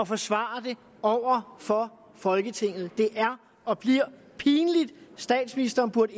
forsvare det over for folketinget det er og bliver pinligt statsministeren burde